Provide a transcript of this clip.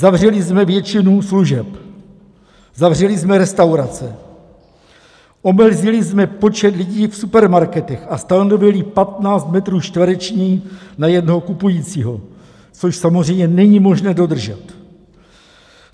Zavřeli jsme většinu služeb, zavřeli jsme restaurace, omezili jsme počet lidí v supermarketech a stanovili 15 metrů čtverečních na jednoho kupujícího, což samozřejmě není možné dodržet.